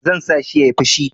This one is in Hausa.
Zan sa shi ya yi fushi.